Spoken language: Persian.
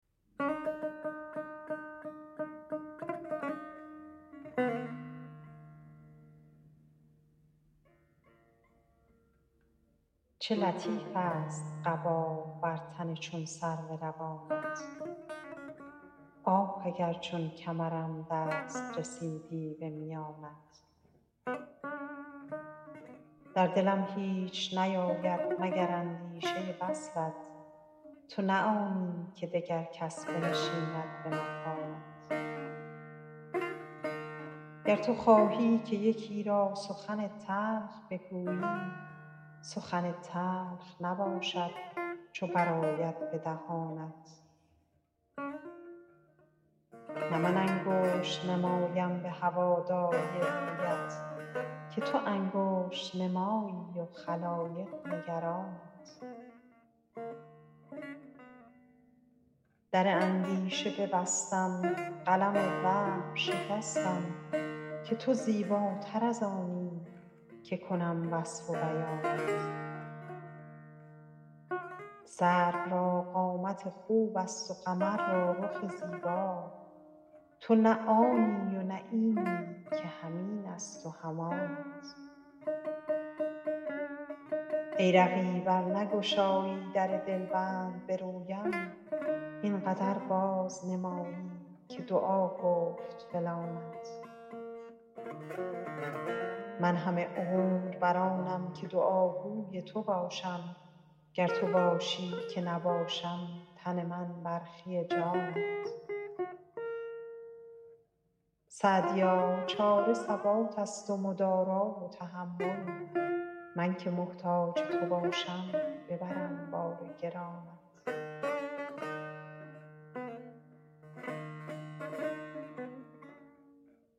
چه لطیفست قبا بر تن چون سرو روانت آه اگر چون کمرم دست رسیدی به میانت در دلم هیچ نیاید مگر اندیشه وصلت تو نه آنی که دگر کس بنشیند به مکانت گر تو خواهی که یکی را سخن تلخ بگویی سخن تلخ نباشد چو برآید به دهانت نه من انگشت نمایم به هواداری رویت که تو انگشت نمایی و خلایق نگرانت در اندیشه ببستم قلم وهم شکستم که تو زیباتر از آنی که کنم وصف و بیانت سرو را قامت خوبست و قمر را رخ زیبا تو نه آنی و نه اینی که هم اینست و هم آنت ای رقیب ار نگشایی در دلبند به رویم این قدر بازنمایی که دعا گفت فلانت من همه عمر بر آنم که دعاگوی تو باشم گر تو خواهی که نباشم تن من برخی جانت سعدیا چاره ثباتست و مدارا و تحمل من که محتاج تو باشم ببرم بار گرانت